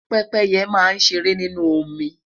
pépéye ma n ṣere ninu omi